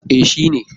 E, shi ne.